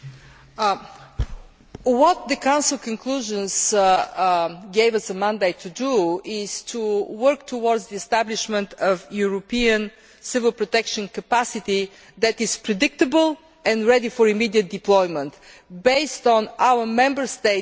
What the Council conclusions gave us a mandate to do is to work towards the establishment of European civil protection capacity that is predictable and ready for immediate deployment, based on our Member States dedicating